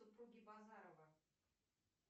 супруги базарова